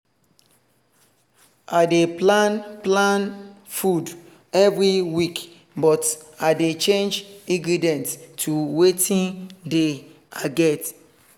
i dey plan plan food every week but i dey change ingredients to watin dey i get